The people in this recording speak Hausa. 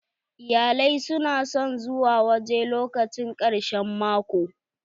Iyalai su na son zuwa waje lokacin karshen mako.